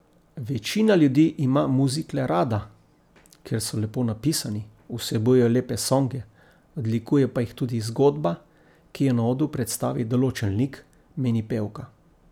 Večina ljudi ima muzikle rada, ker so lepo napisani, vsebujejo lepe songe, odlikuje pa jih tudi zgodba, ki jo na odru predstavi določen lik, meni pevka.